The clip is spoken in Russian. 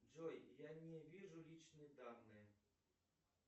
джой я не вижу личные данные